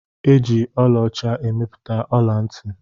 E ji ọla ọcha emepụta ọla-nti